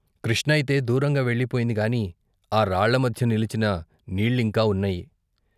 కృష్ణయితే దూరంగా వెళ్ళి పోయిందిగాని ఆ రాళ్ళమధ్య నిలచిన నీళ్ళింకా వున్నాయి.